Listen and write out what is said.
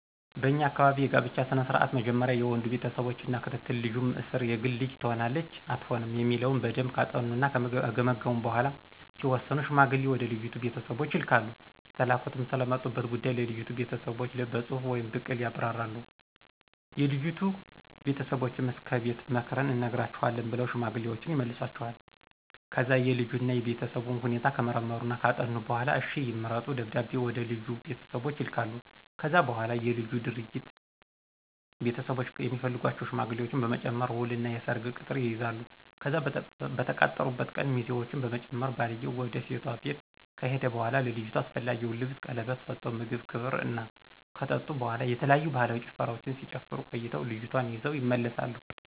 በኛ አካባቢ የጋብቻ ስነ ስርዓት መጀመሪያ የወንዱ ቤተሰቦች እና ክትትል ልጁም እስር የግል ልጅ ትሆነናለች አትሆንም የሚለውን በደምብ ካጠኑና ከገመገሙ በኋላ ሲወስኑ ሽማግሌ ወደ ልጅቱ ቤተሰቦች ይልካሉ የተላኩትም ስለመጡበት ጉዳይ ለልጅቱ ቤተሰቦች በጽሁፍ ወይም ብቅል ያብራራሉ፤ የልጅቱ ቤተሰቦችም እስከ ከቤት ምክርን እንነግራቹአለን ብለው ሽማግሌወችን ይመልሷቸዋል። ከዛ የልጁን እና የቤተሰቡን ሁኔታ ከመረመሩና ካጠኑ በኋላ እሽ ይምረጡ ደብዳቤ ወደልጁ ቤተሰቦች ይልካሉ። ከዛ በኋላ የልጁና ድርጅት ቤተሰቦች የሚፈልጓቸውን ሽማግሌዎች በመጨመር ውል እና የሰርግ ቅጥር ይይዛሉ፤ ከዛ በተቃጠሩበት ቀን ሚዜውችን በመጨመር ባልየው ውድ ሴቷ ቤት ከሄደ በኋላ ለልጅቷ አስፈላጊውን ልብስን ቀለበት ስቶ ምግብ ክብር እና ከጠጡ በኋላ የተለያዩ ባህላዊ ጭፈራወችን ሲጨፍሩ ቆይተው ልጅቷን ይዘው ይመለሳሉ።